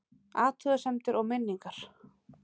Athugasemdir og minningar